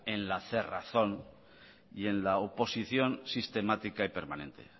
en la cerrazón y en la oposición sistemática y permanente